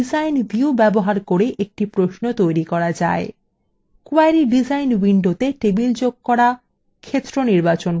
design view ব্যবহার করে একটি প্রশ্ন তৈরি করা যায়